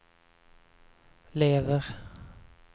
lever